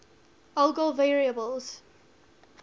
algol variables